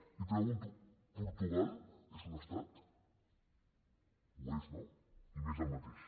i pregunto portugal és un estat ho és no i més del mateix